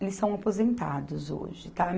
Eles são aposentados hoje, tá?